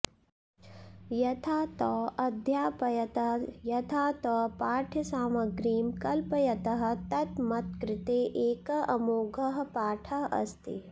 यथा तौ अध्यापयतः यथा तौ पाठ्यसामग्रीं कल्पयतः तत् मत्कृते एकः अमोघः पाठः अस्ति